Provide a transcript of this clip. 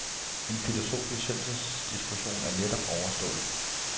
En filosofisk søndagsdiskussion er netop overstået.